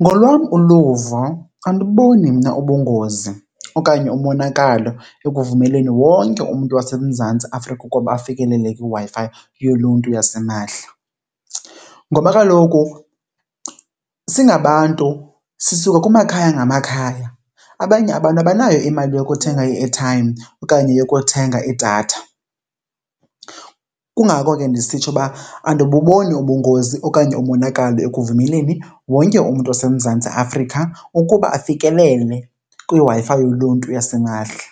Ngolwam uluvo, andiboni mna ubungozi okanye umonakalo ekuvumeleni wonke umntu waseMzantsi Afrika ukuba afikelele kwiWi-Fi yoluntu yasimahla. Ngoba kaloku singabantu sisuka kumakhaya ngamakhaya, abanye abantu abanayo imali yokuthenga i-airtime okanye yokuthenga idatha. Kungako ke ndisitsho uba andibuboni ubungozi okanye umonakalo ekuvumeleni wonke umntu oseMzantsi Afrika ukuba afikelele kwiWi-Fi yoluntu yasimahla.